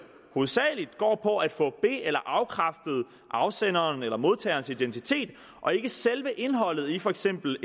hovedsagelig går på at få be eller afkræftet afsenderens eller modtagerens identitet og ikke selve indholdet i for eksempel